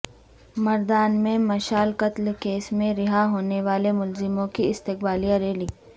مردان میں مشال قتل کیس میں رہا ہونے والے ملزموں کی استقبالیہ ریلی